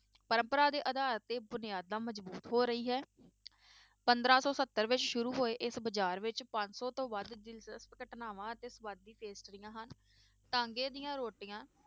ਪਰੰਪਰਾ ਦੇ ਆਧਾਰ ਤੇ ਬੁਨਿਆਦਾਂ ਮਜ਼ਬੂਤ ਹੋ ਰਹੀ ਹੈ ਪੰਦਰਾਂ ਸੌ ਸੱਤਰ ਵਿੱਚ ਸ਼ੁਰੂ ਹੋਏ ਇਸ ਬਾਜ਼ਾਰ ਵਿੱਚ ਪੰਜ ਸੌ ਤੋਂ ਵੱਧ ਦਿਲਚਸਪ ਘਟਨਾਵਾਂ ਅਤੇ ਸਵਾਦੀ ਪੇਸਟਰੀਆਂ ਹਨ ਟਾਂਗੇ ਦੀਆਂ ਰੋਟੀਆਂ